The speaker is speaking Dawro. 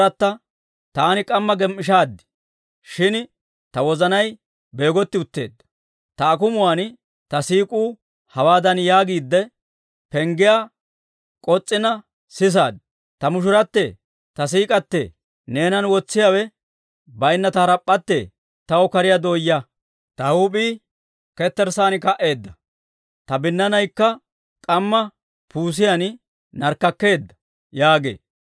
Taani k'amma gem"ishaad; shin ta wozanay beegotti utteedda. Ta akumuwaan ta siik'uu hawaadan yaagiidde, penggiyaa k'os's'iina sisaad; Ta mushurattee, ta siik'k'atee, neenan wotsiyaawe bayinna ta harap'p'atte, taw kariyaa dooyaa; ta huup'ii ketterssaan ka"eedda. Ta binnaanaykka k'amma puusiyaan narkkakkeedda yaagee.